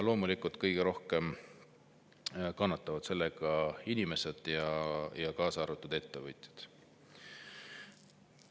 Loomulikult kõige rohkem kannatavad selle tõttu inimesed, kaasa arvatud ettevõtjad.